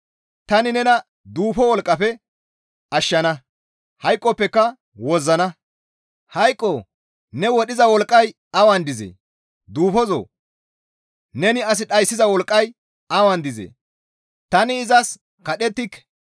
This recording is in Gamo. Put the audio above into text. Tani nena duufo wolqqafe ashshana; hayqoppeka wozzana. Hayqoo! Ne wodhiza wolqqay awan dizee? Duufozoo! Neni as dhayssiza wolqqay awan dizee? Tani izas qadhettike.